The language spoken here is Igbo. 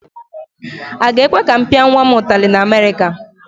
Aga ekwe ka m pịa nwa m ụtali na Amerịka?